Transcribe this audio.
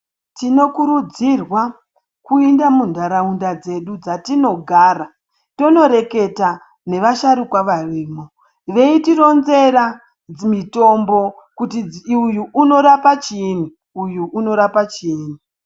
Tinokurudzirwa kuenda muntaraunda dzedu dzatinogara tondoreketa navasharukwa varimo veitironzera dzimitombo kuti uyu unorapa chiyini uyu unorapa chinyi.